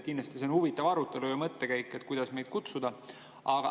Kindlasti on see huvitav arutelu ja mõttekäik, et kuidas meid kutsuda.